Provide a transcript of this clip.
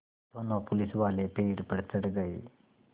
दोनों पुलिसवाले पेड़ पर चढ़ गए